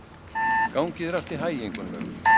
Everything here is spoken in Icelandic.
Gangi þér allt í haginn, Gunnlaug.